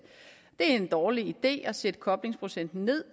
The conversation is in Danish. det er en dårlig idé at sætte koblingsprocenten ned